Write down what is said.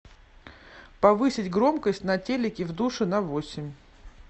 повысить громкость на телике в душе на восемь